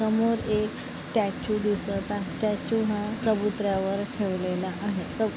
समोर एक स्टॅचू दिसत आहे स्टॅचू हा ठेवलेला आहे. च--